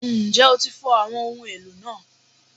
Njẹ o ti fọ awọn ohun elo naa?